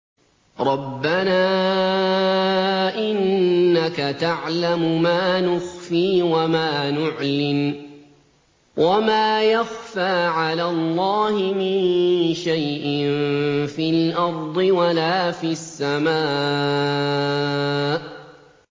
رَبَّنَا إِنَّكَ تَعْلَمُ مَا نُخْفِي وَمَا نُعْلِنُ ۗ وَمَا يَخْفَىٰ عَلَى اللَّهِ مِن شَيْءٍ فِي الْأَرْضِ وَلَا فِي السَّمَاءِ